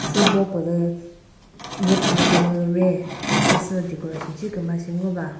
sübo pülü nyepü kümüre khasü sü decoration shi küma shi ngova.